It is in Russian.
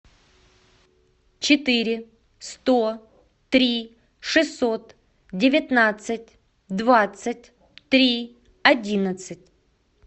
четыре сто три шестьсот девятнадцать двадцать три одиннадцать